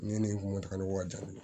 Ne ni moto ka jan